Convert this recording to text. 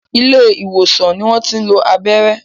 Ilé ìwòsàn ni wọ́n tí ń lo abẹ́rẹ́